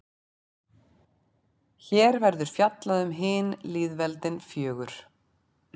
Hér verður fjallað um hin lýðveldin fjögur.